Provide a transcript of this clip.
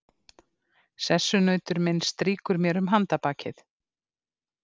Sessunautur minn strýkur mér um handarbakið.